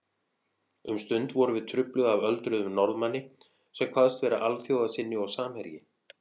Um stund vorum við trufluð af öldruðum Norðmanni sem kvaðst vera alþjóðasinni og samherji